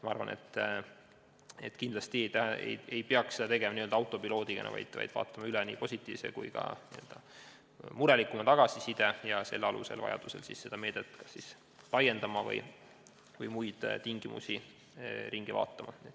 Ma arvan, et me ei peaks tegutsema n-ö autopiloodil olles, vaid läbi tuleb vaadata nii positiivsem kui ka murelikum tagasiside ning selle alusel vajaduse korral meedet laiendada või muid tingimusi üle vaadata.